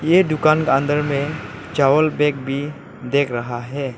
ये दुकान का अंदर में चावल बैग भी देख रहा है।